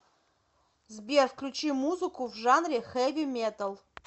сбер включи музыку в жанре хэви металл